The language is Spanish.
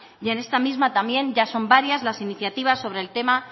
y en esta misma también ya son varias las iniciativas sobre el tema